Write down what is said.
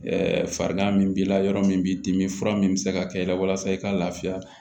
farigan min b'i la yɔrɔ min b'i dimi fura min bɛ se ka kɛ i la walasa i ka lafiya